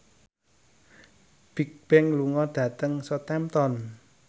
Bigbang lunga dhateng Southampton